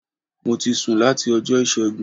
Mo ti sùn láti Ọjọ́ Ìṣẹ́gun